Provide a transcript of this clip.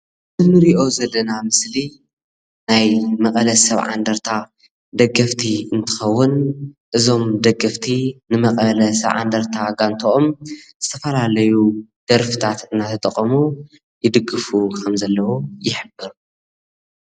እዚ እንሪኦ ዘለና ምስሊ ናይ መቐለ 70 እንደርታ ደገፍቲ እንትኸውን እዞም ደገፍቲ ን መቐለ 70 እንደርታ ጋንትኦም ዝተፈላለዩ ደርፍታት እናተጠቐሙ ይድግፉ ከም ዘለዉ ይሕብር::